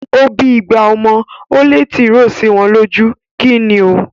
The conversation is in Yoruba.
Ó bí igba ọmọ, ó lé tìròó sí wọn lójú. Kíni o?